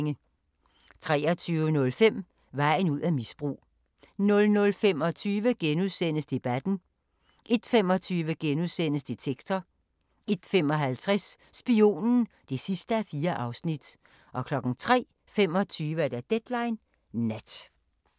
23:05: Vejen ud af misbrug 00:25: Debatten * 01:25: Detektor * 01:55: Spionen (4:4) 03:25: Deadline Nat